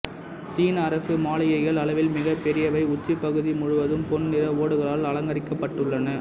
சீன அரசு மாளிகைகள் அளவில் மிக பெரியவை உச்சிப் பகுதி முழுவதும் பொன் நிற ஓடுகளால் அலங்கரிக்கப்பட்டுள்ளன